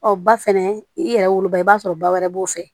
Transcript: Ɔ ba fɛnɛ i yɛrɛ woloba i b'a sɔrɔ ba wɛrɛ b'o fɛ